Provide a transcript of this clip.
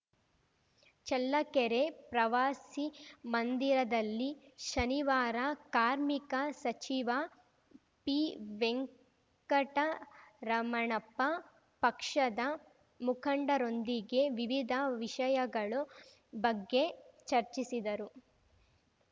ಚಳ್ಳಕೆರೆ ಪ್ರವಾಸಿಮಂದಿರದಲ್ಲಿ ಶನಿವಾರ ಕಾರ್ಮಿಕ ಸಚಿವ ಪಿವೆಂಕಟರಮಣಪ್ಪ ಪಕ್ಷದ ಮುಖಂಡರೊಂದಿಗೆ ವಿವಿಧ ವಿಷಯಗಳು ಬಗ್ಗೆ ಚರ್ಚಿಸಿದರು